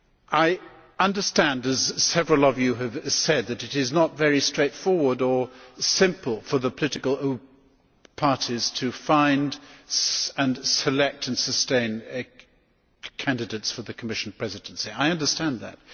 I understand, as several of you have said, that it is not straightforward for the political parties to find, select and sustain candidates for the Commission presidency. I understand that.